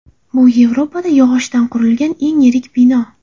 Bu Yevropada yog‘ochdan qurilgan eng yirik bino.